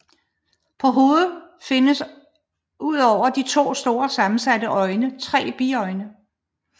På hovedet findes udover de to store sammensatte øjne tre biøjne